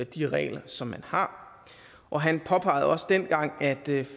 de regler som man har og han påpegede også dengang at